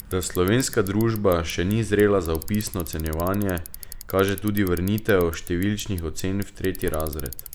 Da slovenska družba še ni zrela za opisno ocenjevanje, kaže tudi vrnitev številčnih ocen v tretji razred.